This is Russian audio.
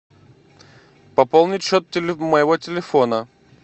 пополнить счет моего телефона